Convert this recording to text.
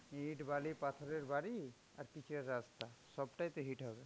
ইট, বালি, পাথরের বাড়ি আর pitch এর রাস্তা, সবটাইতো heat হবে.